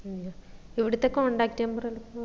മ്മ് ഇവിടുത്തെ contact number